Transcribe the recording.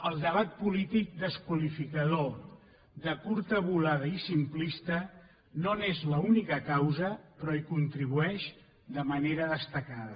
el debat polític desqualificador de curta volada i simplista no n’és l’única causa però hi contribueix de manera destacada